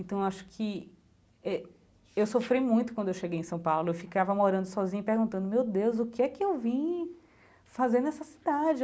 Então, acho que eh... Eu sofri muito quando eu cheguei em São Paulo, eu ficava morando sozinha e perguntando, meu Deus, o que é que eu vim fazer nessa cidade?